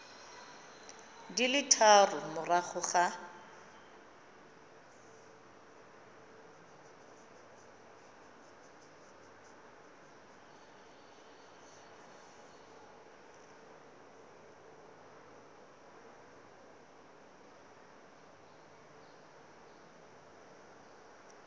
di le tharo morago ga